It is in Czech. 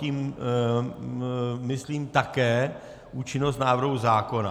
Tím myslím také účinnost návrhu zákona.